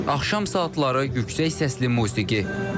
Axşam saatları yüksək səsli musiqi.